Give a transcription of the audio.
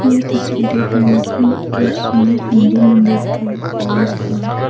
यह तस्वीर एक रंगीन और सुंदर हिन्दू मंदिर के प्रवेश द्वार--